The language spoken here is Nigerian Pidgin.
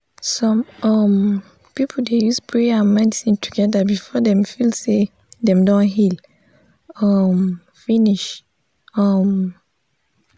some um people dey use prayer and medicine together before dem feel say dem don heal um finish. um